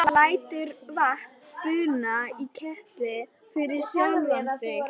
Hann lætur vatn buna í ketil fyrir sjálfan sig.